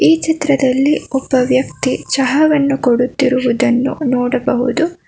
ಈ ಚಿತ್ರದಲ್ಲಿ ಒಬ್ಬ ವ್ಯಕ್ತಿ ಚಹವನ್ನು ಕೊಡುತ್ತಿರುವುದನ್ನು ನೋಡಬಹುದು.